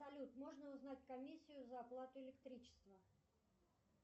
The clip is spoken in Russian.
салют можно узнать комиссию за оплату электричества